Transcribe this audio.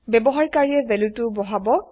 ব্যৱহাৰ কাৰিয়ে ভেলু টো বহাব